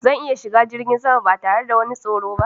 Zan iya shiga jirgin sama ba tare wani tsoro ba.